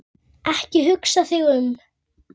Ekki hugsa þig um.